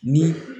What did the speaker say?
Ni